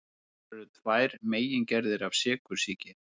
Til eru tvær megingerðir af sykursýki.